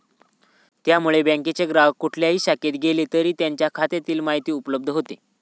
त्यामुळे बँकेच्या ग्राहक कुठल्याही शाखेत गेला तरी त्यांच्या खात्यातील माहिती उपलब्ध होते.